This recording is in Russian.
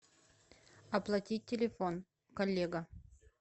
оплатить телефон коллега